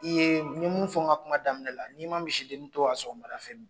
I ye n ye mun fɔ n ka kuma daminɛ la n'i ma misidennin to yan sɔgɔ fɛ